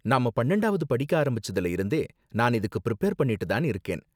நாம பன்னெண்டாவது படிக்க ஆரம்பிச்சதுல இருந்தே நான் இதுக்கு ப்ரிப்பேர் பண்ணிட்டு தான் இருக்கேன்.